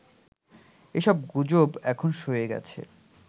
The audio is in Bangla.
এসব গুজব এখন সয়ে গেছে